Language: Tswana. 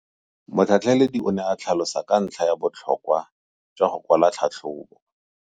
Motlhatlheledi o ne a tlhalosa ka ntlha ya botlhokwa jwa go kwala tlhatlhôbô.